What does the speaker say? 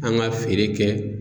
An ka feere kɛ